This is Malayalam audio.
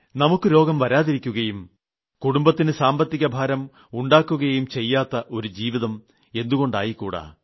നമുക്ക് രോഗം വരാതിരിക്കുകയും കുടുംബത്തിന് സാമ്പത്തിക ഭാരം ഉണ്ടാക്കുകയും ചെയ്യാത്ത ഒരു ജീവിതം എന്തുകൊണ്ട് ആയിക്കൂടാ